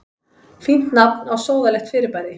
Fínt nafn á sóðalegt fyrirbæri.